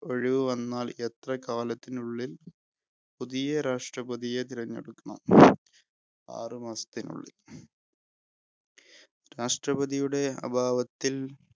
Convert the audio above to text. ഒഴിവു വന്നാല്‍ എത്ര കാലത്തിനുള്ളില്‍ പുതിയ രാഷ്ടപതിയെ തെരഞ്ഞെടുക്കണം? ആറു മാസത്തിനുള്ളില്‍. രാഷ്ടപതിയുടെ അഭാവത്തില്‍